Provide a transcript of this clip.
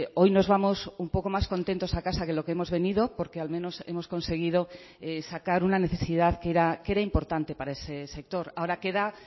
hoy nos vamos un poco más contentos a casa que lo que hemos venido porque al menos hemos conseguido sacar una necesidad que era importante para ese sector ahora queda